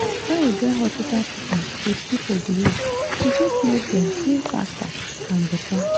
when we join hospital treatment with people belief e fit make dem heal faster and better.